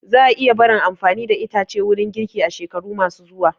Za a iya barin amfani da itace wurin girki a shekaru ma su zuwa